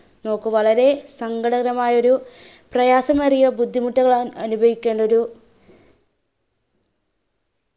നോക്കു വളരെ സങ്കടകരമായൊരു പ്രയാസമേറിയ ബുദ്ധിമുട്ടുകളാണ് അനുഭവിക്കാനൊരു